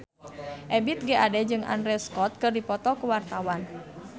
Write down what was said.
Ebith G. Ade jeung Andrew Scott keur dipoto ku wartawan